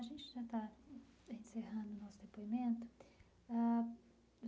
A gente já está encerrando o nosso depoimento ãh.